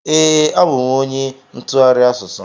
Ee, abụ m onye ntụgharị asụsụ.